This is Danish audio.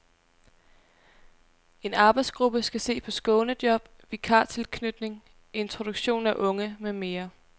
En arbejdsgruppe skal se på skånejob, vikartilknytning, introduktion af unge med mere.